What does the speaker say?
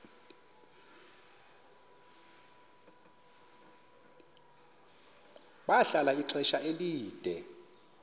bahlala ixesha elide